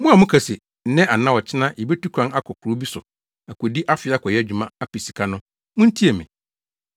Mo a moka se, “Nnɛ anaa ɔkyena yebetu kwan akɔ kurow bi so akodi afe akɔyɛ adwuma, apɛ sika” no, muntie me.